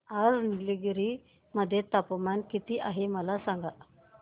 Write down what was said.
आज निलगिरी मध्ये तापमान किती आहे मला सांगा